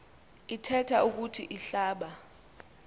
ithethe ukuthi ihlaba